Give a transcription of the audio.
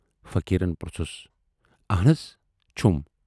فقیٖرن پروژھُس۔ آہَن حض چھُم۔